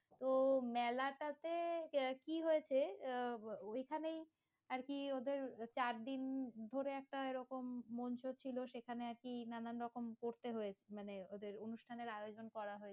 তো মেলাটাতে আহ কি হয়েছে? ওইখানে আরকি ওদের চারদিন ধরে একটা এরকম মঞ্চ ছিল, সেখানে আরকি নানান রকম করতে হয়েছে মানে ওদের অনুষ্ঠানের আয়োজন করা হয়েছে।